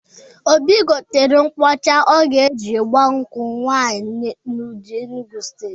Obi gotere nkwụ ọcha ọ ga-eji gbaa nkwụ nwaanyị n'Udi, Enugwu Steeti.